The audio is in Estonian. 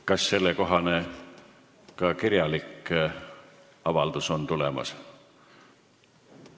Kas sellekohane kirjalik avaldus on ka tulemas?